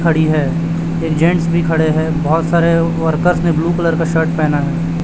खड़ी है एक जेंट्स भी खड़े है बोहोत सारे वर्कर्स ने ब्लू कलर का शर्ट पहना हैं।